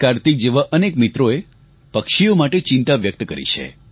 કાર્તિક જેવા અનેક મિત્રોએ પક્ષીઓ માટે ચિંતા વ્યક્ત કરી છે